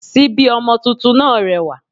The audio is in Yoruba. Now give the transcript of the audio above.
Síbí ọmọ tuntun náà rẹwà